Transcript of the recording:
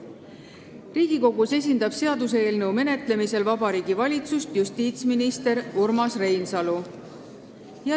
Seaduseelnõu menetlemisel Riigikogus esindab Vabariigi Valitsust justiitsminister Urmas Reinsalu.